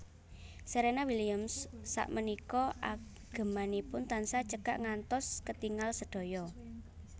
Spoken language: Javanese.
Serena Williams sakmenika agemanipun tansah cekak ngantos ketingal sedaya